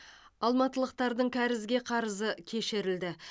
алматылықтардың кәрізге қарызы кешірілді